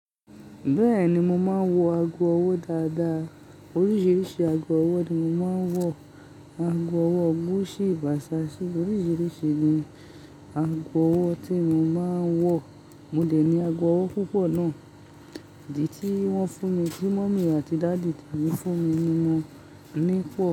Bẹ́ẹ̀ni, mo máa ń wọ ago ọwọ́ dáadáa. Oríṣiríṣi ago ọwọ́ ni mo máa ń wọ̀. Ago ọwọ́ Gucci, Versace oríṣiríṣi ni ago ọwọ́ tí mo máa ń wọ̀. Mò dẹ̀ ní ago ọwọ́ púpọ̀ náà, idí tí wọ́n fún mi, kí Mummy àti Daddy ti fún mi ni wọ́n ní pọ̀.